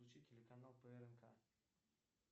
включи телеканал прк